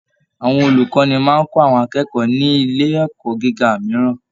Àwọn olukọni máa n kọ àwọn akẹ́kọ̀ọ́ ní ilé ẹ̀kọ́ gíga mìíràn.